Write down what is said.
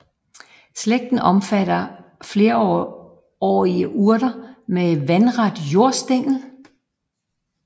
Slægten omfatter flerårige urter med vandret jordstængel